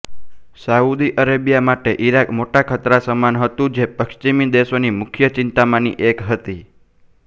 Saudi Arabia માટે Iraq મોટા ખતરા સમાન હતું જે પશ્ચિમી દેશોની મુખ્ય ચિંતામાંની એક હતી